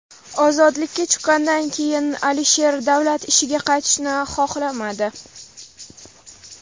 Ozodlikka chiqqandan keyin Alisher davlat ishiga qaytishni xohlamadi.